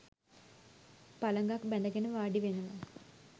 පළඟක් බැඳගෙන වාඩි වෙනවා